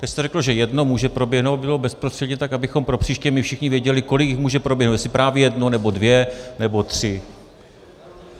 Vy jste řekl, že jedno může proběhnout, aby to bylo bezprostředně, tak abychom pro příště my všichni věděli, kolik jich může proběhnout, jestli právě jedno nebo dvě nebo tři.